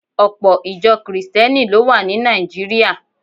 Ọpọ̀ Ìjọ Kìrìsìtíẹ́nì ló wà ní Nàìjíríà